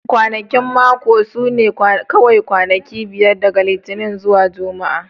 Kwanakin mako su ne kawai kwanaki biyar daga Litinin zuwa Juma'a